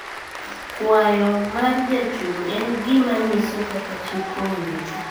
Kwayo mar jachung` en gima nyiso kaka chik owinjo ti